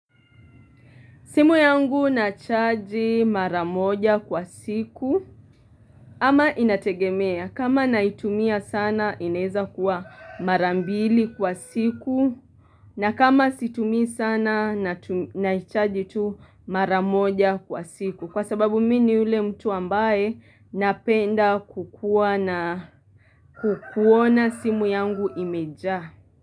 Simu yangu nachaji mara moja kwa siku ama inategemea kama naitumia sana ineza kuwa mara mbili kwa siku na kama situmi sana natu naichaji tu mara moja kwa siku kwa sababu mi ni yule mtu ambaye napenda kukuwa na kukuona simu yangu imejaa.